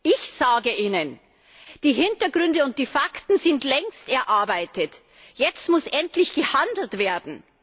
Ich sage Ihnen Die Hintergründe und die Fakten sind längst erarbeitet, jetzt muss endlich gehandelt werden!